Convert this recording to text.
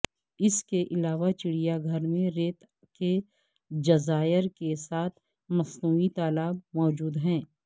اس کے علاوہ چڑیا گھر میں ریت کے جزائر کے ساتھ مصنوعی تالاب موجود ہیں